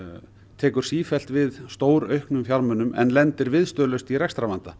tekur sífellt við stórauknum fjármunum en lendir viðstöðulaust í rekstrarvanda